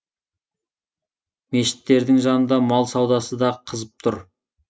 мешіттірдің жанында мал саудасы да қызып тұр